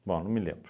Bom, não me lembro.